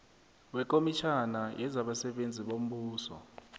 wekomitjhana yezabasebenzi bombuso